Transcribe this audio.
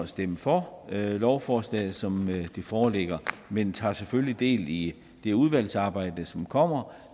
stemme for lovforslaget som det foreligger men tager selvfølgelig del i det udvalgsarbejde som kommer